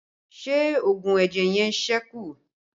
Ṣé oògùn ẹ̀jẹ̀ yẹn sẹ́kù?